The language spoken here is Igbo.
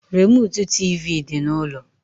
Remụtụ tịvị dị n’ụlọ